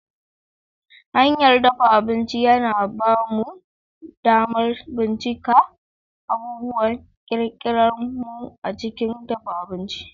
Hanyar dafa abinci yana ba mu damar bincika abubuwan kirkirar mu a cikin dafa abinci.